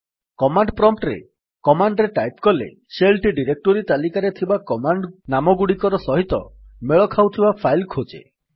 command prompt ରେ command ରେ type କଲେ ଶେଲ୍ ଟି ଡିରେକ୍ଟୋରୀ ତାଲିକାରେ ଥିବା କମାଣ୍ଡ୍ ନାମଗୁଡିକ ସହିତ ମେଳ ଖାଉଥିବା ଫାଇଲ୍ ଖୋଜେ